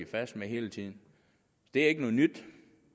fast med hele tiden det er ikke noget nyt